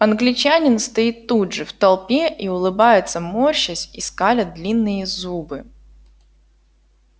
англичанин стоит тут же в толпе и улыбается морщась и скаля длинные зубы